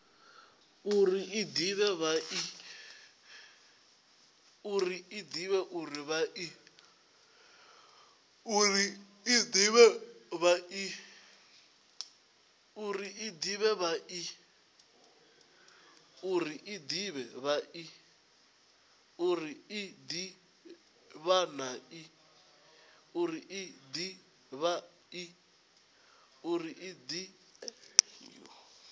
uri i de vha i